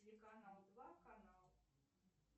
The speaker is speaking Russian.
телеканал два канал